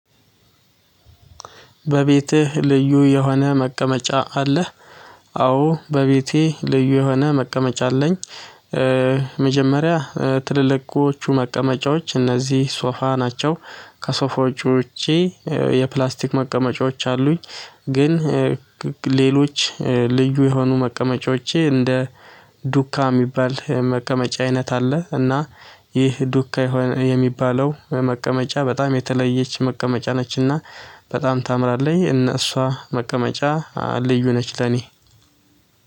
በቤትህ ልዩ የሆነ መቀመጫ አለህ? አዎ በቤቴ ልዩ የሆነ መቀመጫ አለኝ። መጀመሪያ ትልልቆቹ መቀመጫዎች እነዚህ ሶፋ ናቸው ከሶፋዎቹ ውጪ የፕላስቲክ መቀመጫዎች አሉኝ። ግን ሌሎች ልዩ የሆኑ መቀመጫዎቼ እንደ ዱካ የሚባል መቀመጫ አይነት አለ። እና ይህ ዱካ የሚባለው በመቀመጫ በጣም የተለየች መቀመጫ ነችና በጣም ታምራለኝ። እነ እሷ መቀመጫ ልዩ ነች። ለኔ